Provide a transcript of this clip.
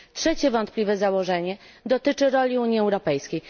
Trzecie wątpliwe założenie dotyczy roli Unii Europejskiej.